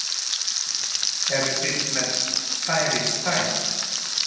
Eruð þið með stærri stærð?